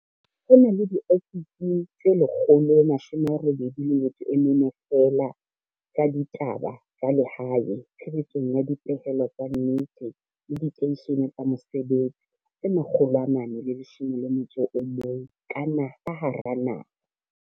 Ho na le diofisi tse 184 feela tsa ditaba tsa lehae tshebetsong ya dipehelo tsa nnete le diteishene tsa mosebetsi tse 411 ka hara naha.